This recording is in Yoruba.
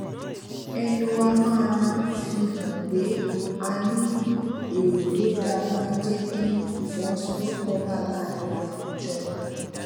ẹnu wa máa fi hàn pé a ní èrò tó dáa máa ń jé kí ìfọwósowópò wà láàárín àwùjọ